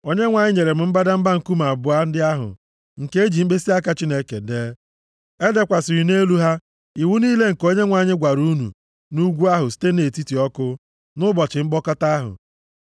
Onyenwe anyị nyere m mbadamba nkume abụọ ndị ahụ, nke eji mkpịsịaka Chineke dee. Edekwasịrị nʼelu ha iwu niile nke Onyenwe anyị gwara unu nʼugwu ahụ site nʼetiti ọkụ, nʼụbọchị mkpọkọta ahụ.